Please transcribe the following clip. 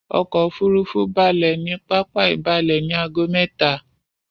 Ọkò òfurufú balẹ̀ ní pápá ìbalẹ ní ago mẹ́ta.